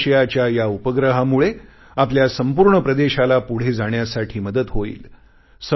दक्षिण आशियाच्या या उपग्रहामुळे आपल्या संपूर्ण प्रदेशाला पुढे जाण्यासाठी मदत होईल